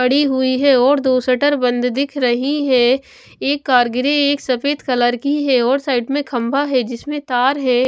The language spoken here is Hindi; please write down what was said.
बड़ी हुई है और दो शटर बंद दिख रही है एक कार ग्रे एक सफेद कलर की है और साइड में खंभा है जिसमें तार है।